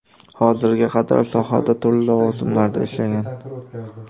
Hozirga qadar sohada turli lavozimlarida ishlagan.